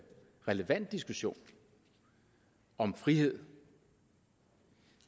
relevant diskussion om frihed